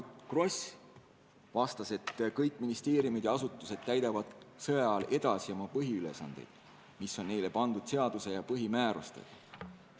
Margit Gross vastas, et kõik ministeeriumid ja muud asutused täidavad sõjaajal edasi oma põhiülesandeid, mis on neile pandud seaduse ja põhimäärustega.